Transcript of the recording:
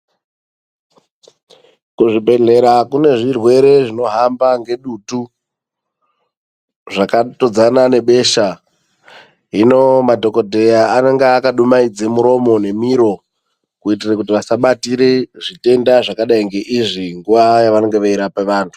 Kuzvibhehlera kune zvirwere zvinohamba ngedutu, zvakatodzana nebesha hino madhokodheya anenge akadumaidza murumo nemiro kuitira kuti vasabatire zvitenda zvakadai ngeizvi nguva yavanenge veirapa vantu.